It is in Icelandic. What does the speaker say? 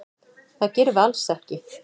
Það gerum við alls ekki.